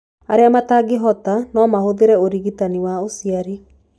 Arĩa matangĩhota no mahũthĩre ũrigitani wa ũciari.